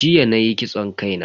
Jiya nayi kitson kai na.